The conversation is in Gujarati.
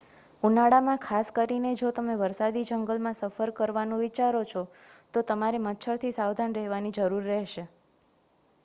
ઉનાળામાં ખાસ કરીને જો તમે વરસાદી જંગલમાં સફર કરવાનું વિચારો છો તો તમારે મચ્છરથી સાવધાન રહેવાની જરૂર રહેશે